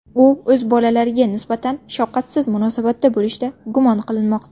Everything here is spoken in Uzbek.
U o‘z bolalariga nisbatan shafqatsiz munosabatda bo‘lishda gumon qilinmoqda.